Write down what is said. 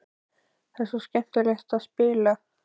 Það er svo skemmtilegt að spila.